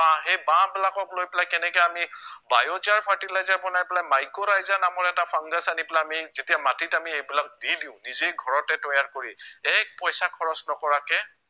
বাঁহ সেই বাঁহবিলাকক লৈ পেলাই কেনেকে আমি biozen fertilizer বনাই পেলাই মাইক্ৰৰাইজা নামৰ এটা fungus আনি পেলাই আমি যেতিয়া মাটিত আমি এইবিলাক দি দিও নিজেই ঘৰতে তৈয়াৰ কৰি এক পইচা খৰছ নকৰাকে